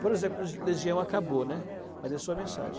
Por exemplo, legi Legião acabou, né, mas deixou a mensagem.